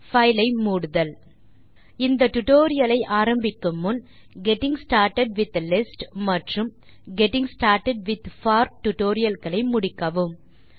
file ஐ மூடுதல் இந்த டியூட்டோரியல் ஐ ஆரம்பிக்கும் முன் நீங்கள் கெட்டிங் ஸ்டார்ட்டட் வித் லிஸ்ட்ஸ் மற்றும் getting started with for tutorial களை முடித்துவிட்டு வரும்படி பரிந்துரைக்கிறோம்